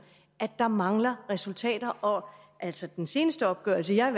at der mangler resultater altså den seneste opgørelse jeg